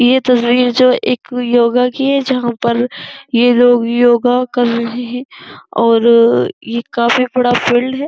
ये तस्वीर जो एक योगा की है। जहां पर ये लोग योग कर रहे हैं और अ ये काफी बड़ा फील्ड है।